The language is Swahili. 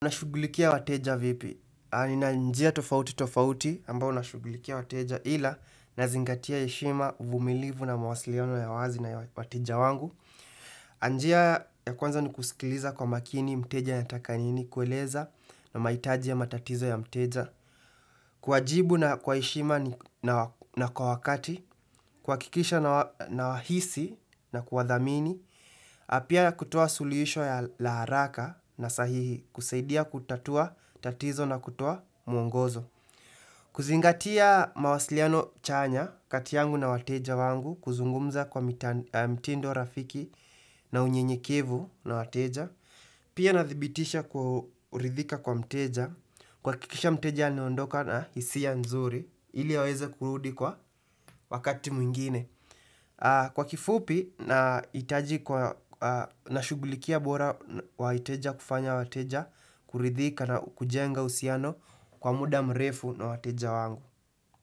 Unashugulikia wateja vipi, nina njia tofauti tofauti ambao nashugulikia wateja ila nazingatia heshima uvumilivu na mawasiliano ya wazi na wateja wangu. Njia ya kwanza ni kusikiliza kwa makini mteja ya anataka nini kueleza na maitaji ya matatizo ya mteja. Kuwajibu na kwa heshima na kwa wakati, kuhakikisha nawahisi na kuwadhamini, pia kutoa suluhisho la haraka na sahihi kusaidia kutatua tatizo na kutoa mwongozo. Kuzingatia mawasiliano chanya kati yangu na wateja wangu kuzungumza kwa mtindo rafiki na unyenyekivu na wateja. Pia nadhibitisha kwa uridhika kwa mteja, kuhakikisha mteja anaondoka na hisi nzuri, ili aweze kurudi kwa wakati mwingine. Kwa kifupi, naitaji nashugulikia bora wa wateja kufanya wateja, kuridhika na kujenga uhusiano kwa muda mrefu na wateja wangu.